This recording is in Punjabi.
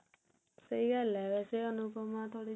ਸਹੀ ਗੱਲ ਹੈ ਵੇਸੇ ਅਨੁਪਮਾ ਥੋੜੀ ਜੀ